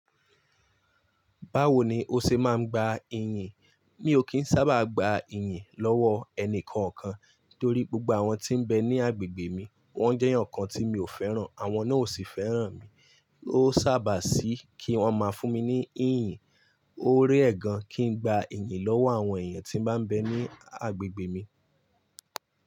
Báwo ni o ṣe máa ń gba iyìǹ? Mi ò kí ń sábà gba iyìǹ lọ́wọ́ ẹni kankan torí gbogbo àwọn tí ń bẹ ní agbègbè mi wọ́n jẹ́ eeyan kan tí mi ò fẹ́ràn, àwọn náà ò sì fẹ́ràn mi. Ó sábà sí kí wọ́n máa fún mi ní iyìǹ. Ó rare gan kí n gba iyìǹ lọ́wọ́ àwọn èèyàn tí ń bá bẹ ní agbègbè mi.